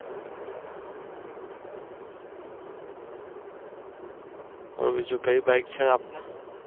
બોલો બીજું કયું Bike છે આપને